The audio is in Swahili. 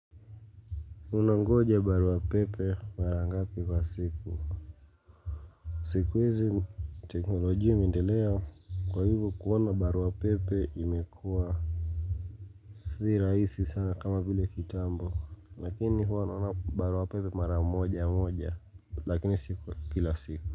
Unangoja barua pepe mara ngapi kwa siku? Siku hizi teknolojia imeendelea kwa hivyo kuona barua pepe imekuwa si raisi sana kama vile kitambo lakini huwa naona barua pepe mara moja moja lakini si kila siku.